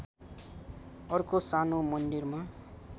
अर्को सानो मन्दिरमा